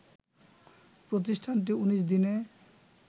প্রতিষ্ঠানটি ১৯ দিনে